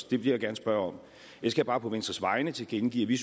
det vil jeg gerne spørge om jeg skal bare på venstres vegne tilkendegive at vi